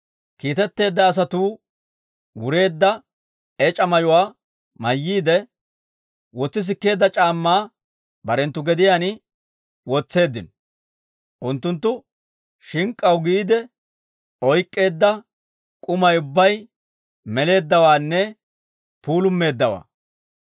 Kiitetteedda asatuu wureedda ec'a mayuwaa mayyiide, wotsi sikkeedda c'aammaa barenttu gediyaan wotseeddino; unttunttu shink'k'aw giide oyk'k'eedda k'umay ubbay meleeddawaanne puulumeeddawaa.